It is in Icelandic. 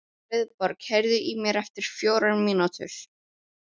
Friðborg, heyrðu í mér eftir fjórar mínútur.